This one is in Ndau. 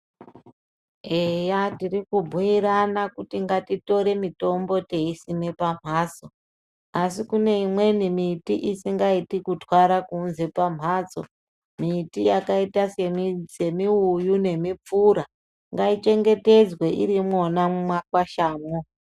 Eya tiri kubhuirana kuti ngatitore mitombo teisime pamhatso asi kune imweni miti isingaiti kutwara kunze pamhatso miti yakaita se miuyu nemupfura ngai chengetedzwe irimwo mumakwashamo.